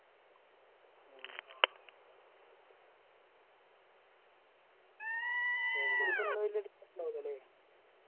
തെണ്ടുൽക്കർ ന് വലിയ അടിച്ചിട്ടുണ്ടാവില്ലല്ലേ